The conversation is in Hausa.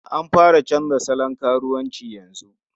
An fara canza salon karuwanci yanzu.